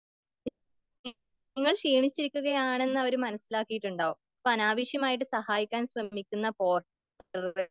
നിങ്ങൾ ക്ഷീണിച്ചിരിക്കുകായണെന്ന് അവർ മനസ്സിലാക്കീട്ടുണ്ടാകും.അപ്പോൾ അനാവശ്യമായി സഹായിക്കാൻ ശ്രമിക്കുന്ന പോർട്ടറെയോ